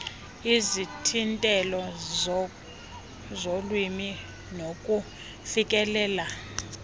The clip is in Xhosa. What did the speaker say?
izithintelo zolwimi nokufikelela